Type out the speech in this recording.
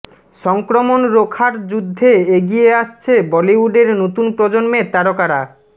সংক্রমণ রোখার যুদ্ধে এগিয়ে আসছে বলিউডের নতুন প্রজন্মের তারকারা